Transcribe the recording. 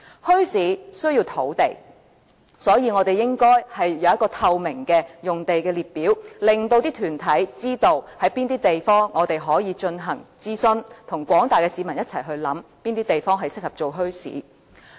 墟市需要土地，所以，我們應該有一個透明的用地列表，令團體知道哪裏可以進行諮詢，與廣大市民一起考慮哪些地方適合發展墟市。